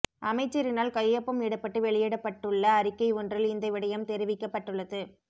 அமைச்சரினால் கையொப்பம் இடப்பட்டு வெளியிடப்பட்டுள்ள அறிக்கை ஒன்றில் இந்த விடயம் தெரிவிக்கப்பட்டுள்ளது